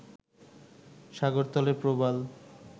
সাগরতলে প্রবাল